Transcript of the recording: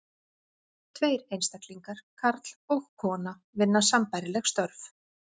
Tveir einstaklingar, karl og kona, vinna sambærileg störf.